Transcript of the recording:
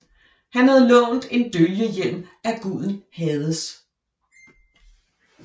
Han havde lånt en dølgehjelm af guden Hades